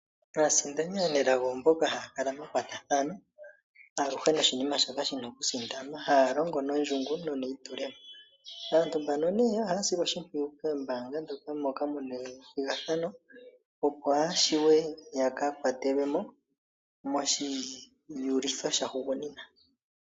Aasindani aanelago mboka haya kala yeli mekwatathano noshinima shoka tashi sindanwa. Ohaya longo no ndjungu neyi tulemo. Aantu mbaka ne ohaya silwa oshimpwiyu koombanga moka muna ethigathano, opo yashiwe yaaka kwatelwemo moshi uliko sha hugunina.